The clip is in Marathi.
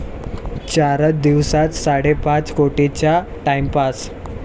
चारच दिवसांत साडेपाच कोटींचा 'टाइमपास'